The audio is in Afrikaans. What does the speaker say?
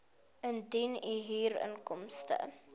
indien u huurinkomste